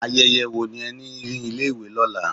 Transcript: Ayẹyẹ wo ni ẹ ní ní ilé ìwé lọ́la?